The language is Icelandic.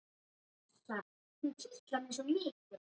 Ég gat lesið það sem á því stóð en það sagði mér ekkert.